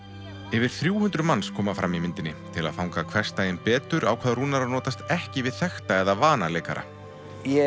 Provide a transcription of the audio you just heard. yfir þrjú hundruð manns koma fram í myndinni til að fanga hversdaginn betur ákvað Rúnar að notast ekki við þekkta eða vana leikara ég